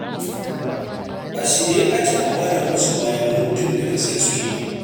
A shirye ake a mara musu baya muddin da gaske suke yi.